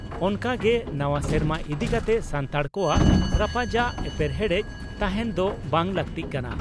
ᱚᱱᱠᱟ ᱜᱮ ᱱᱟᱣᱟ ᱥᱮᱨᱢᱟ ᱤᱫᱤ ᱠᱟᱛᱮ ᱥᱟᱱᱛᱟᱲ ᱠᱚᱣᱟᱜ ᱨᱟᱯᱟᱪᱟᱜ/ᱮᱯᱮᱨᱦᱮᱸᱰᱮᱫ ᱛᱟᱦᱮᱸᱱ ᱫᱚ ᱵᱟᱝ ᱞᱟᱜᱛᱤᱜ ᱠᱟᱱᱟ ᱾